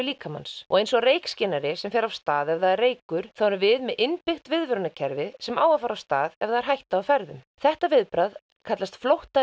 líkamans og eins og reykskynjari sem fer af stað ef það er reykur þá erum við með innbyggt viðvörunarkerfi sem á að fara af stað ef það er hætta á ferðum þetta viðbragð kallast flótta